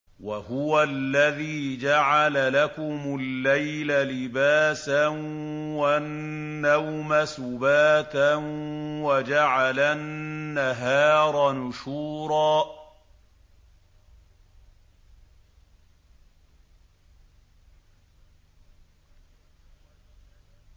وَهُوَ الَّذِي جَعَلَ لَكُمُ اللَّيْلَ لِبَاسًا وَالنَّوْمَ سُبَاتًا وَجَعَلَ النَّهَارَ نُشُورًا